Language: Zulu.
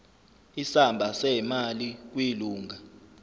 isamba semali kwilunga